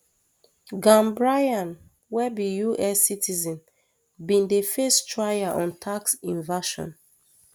gambaryan wey be us citizen bin dey face trial on tax evasion